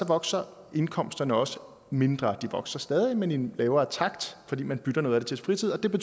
vokser indkomsterne også mindre de vokser stadig men i en lavere takt fordi man bytter noget af det til fritid det